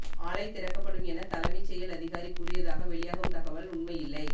ஆலை திறக்கப்படும் என தலைமைச் செயல் அதிகாரி கூறியதாக வெளியாகும் தகவல் உண்மையில்லை